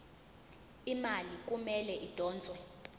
imali kumele idonswe